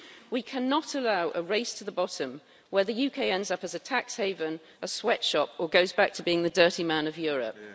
We cannot allow a race to the bottom, where the UK ends up as a tax haven, a sweatshop or goes back to being the dirty man of Europe'.